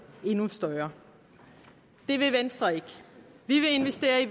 endnu større det vil venstre ikke vi vil investere i